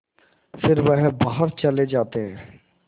फिर वह बाहर चले जाते